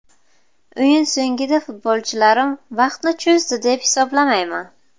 O‘yin so‘ngida futbolchilarim vaqtni cho‘zdi deb hisoblamayman.